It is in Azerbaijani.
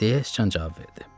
deyə sıçan cavab verdi.